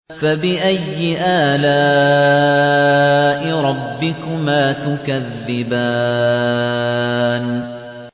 فَبِأَيِّ آلَاءِ رَبِّكُمَا تُكَذِّبَانِ